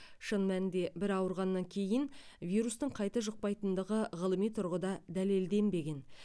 шын мәнінде бір ауырғаннан кейін вирустың қайта жұқпайтындығы ғылыми тұрғыда дәлелденбеген